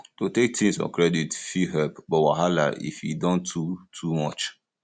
to take things on credit fit help but wahala if e don too too much